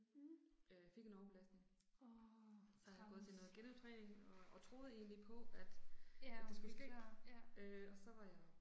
Mh. Åh, træls. Ja og blive klar, ja